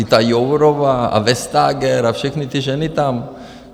i ta Jourová a Vestager a všechny ty ženy tam.